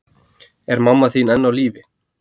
Er mamma þín enn á lífi?